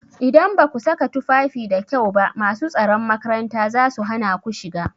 Idan baku saka tufafi da kyau ba masu tsaron makaranta zasu hana ku shiga.